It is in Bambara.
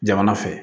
Jamana fɛ